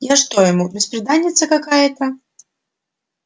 я что ему бесприданница какая